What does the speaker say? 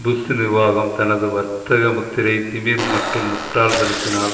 push நிர்வாகம் தனது வர்த்தக முத்திரை திமிர் மற்றும் முட்டாள் தனத்தினால்